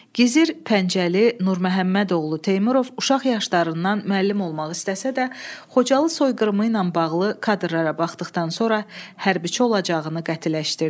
Gizir Pəncəli Nurməmmədoğlu Teymurov uşaq yaşlarından müəllim olmaq istəsə də, Xocalı soyqırımı ilə bağlı kadrlara baxdıqdan sonra hərbçi olacağını qətiləşdirdi.